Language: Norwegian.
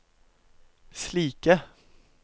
slike